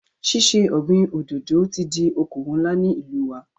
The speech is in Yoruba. Ṣíṣe ọ̀gbin òdòdò ti di okòwò ńlá ní ìlú wa.